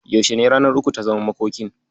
Yaushe ne ranar uku ta zaman makokin?